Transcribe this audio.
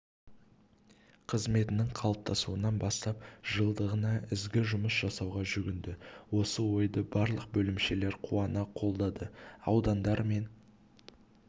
қызметінің қалыптасуынан бастап жылдығына ізгі жұмыс жасауға жүгінді осы ойды барлық бөлімшелер қуана қолдады аудандар